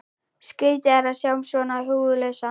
Skrýtið að sjá hann svona húfulausan.